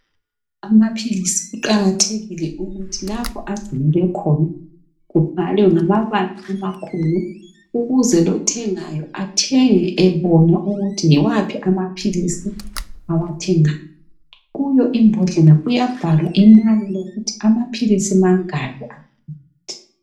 Amaphilisi kuqakathekile ukuthi lapho angcinelwe khona kubhalwe ngamabala amakhulu ukuze lothengayo athenge ebona ukuthi yiwaphi amaphilizi awathengayo, kuyo ibhodlela kuyabhalwa imlayo yokuthi amaphilisi mangaki aphakathi.